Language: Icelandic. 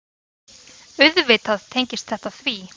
Auðvitað tengist þetta því.